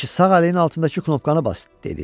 Aşı sağ əlinin altındakı knopkanı bas, dedi.